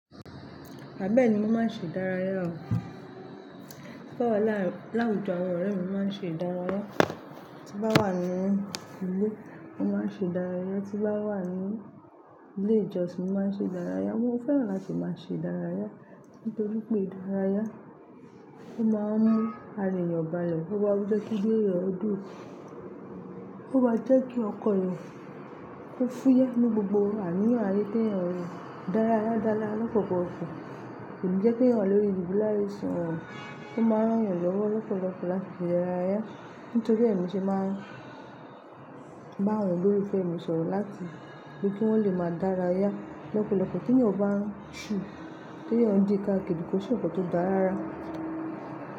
Bẹ́ẹ̀ni, mo máa ń ṣe ìdárayá. Bí mo bá wa láwùjọ àwọn ọ̀rẹ́ mi, mo máa ń ṣe ìdárayá, tí bá wà nínú ilé, mo máa ń ṣe ìdárayá, tí bá wà ní ilé ìjọsìn, mo máa ń ṣe ìdárayá. Mo fẹ́ràn láti máa ṣe ìdárayá, nítorí pé ìdárayá, ó máa ń mú ara èèyàn balẹ̀, ó máa ń jẹ́ kínú éyàn dùn, ó ma jẹ́ kí ọkàn èèyàn kó fúyẹ́ ní gbogbo àníyàn ayé t'èèyàn, ìdárayá dára lọ́pọ̀lọpọ̀. Kò ní jẹ́ k'èèyàn wà lórí ìdùbúlè àìsàn, ó máa n rán èèyàn lọ́wọ́ lọ́pọ̀lọpọ̀ láti se ìdárayá. Nítorí è mo ṣe máa ń bá àwọn olólùfẹ́èmi sọ̀rọ̀ láti bí kí wọ́n lè máa dárayá lọ́pọ̀lọpọ̀ t'èèyàn bá ń ṣù, t'èèyàn n di káàkiri, kó ṣe nkan tó dáa rárá.